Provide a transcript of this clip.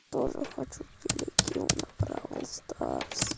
тоже хочу телегил на бравл старс